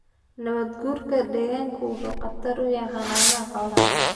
Nabaad-guurka deegaanku wuxuu khatar ku yahay xannaanada xoolaha.